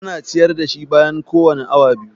Ana ciyar da shi bayan kowane awa biyu.